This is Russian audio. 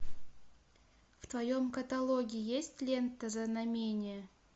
в твоем каталоге есть лента знамение